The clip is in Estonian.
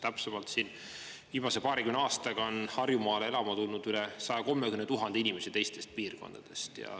Täpsemalt, viimase paarikümne aastaga on Harjumaale elama tulnud üle 130 000 inimesi teistest piirkondadest.